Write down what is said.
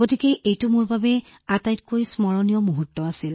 গতিকে এইটো মোৰ বাবে নিখুঁত আৰু আটাইতকৈ স্মৰণীয় মুহূৰ্ত আছিল